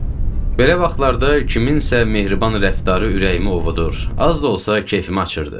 Belə vaxtlarda kimsənin mehriban rəftarı ürəyimi ovudur, az da olsa kefimi açırdı.